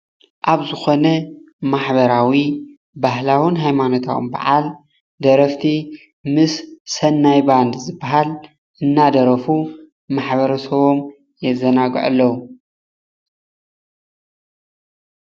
ኣብ ዝኮነ ማሕበራዊ ባህላዊን ሃይማኖታዊን በዓል ደረፍቲ ምስ ሰናይ ባንድ ዝባሃል እናደረፉ ማሕበረ ሰቦም የዘናግዑ ኣለዉ፡፡